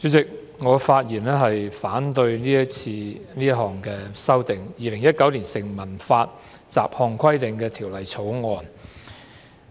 主席，我發言反對《2019年成文法條例草案》所提出的修訂。